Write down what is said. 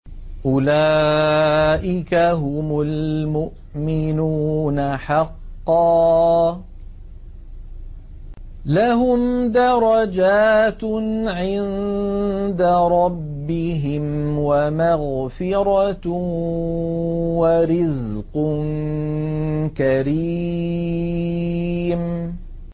أُولَٰئِكَ هُمُ الْمُؤْمِنُونَ حَقًّا ۚ لَّهُمْ دَرَجَاتٌ عِندَ رَبِّهِمْ وَمَغْفِرَةٌ وَرِزْقٌ كَرِيمٌ